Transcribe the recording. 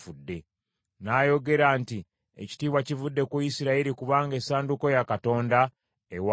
N’ayogera nti, “Ekitiibwa kivudde ku Isirayiri kubanga essanduuko ya Katonda ewambiddwa.”